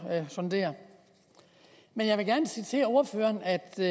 sondere jeg vil gerne sige til ordføreren at det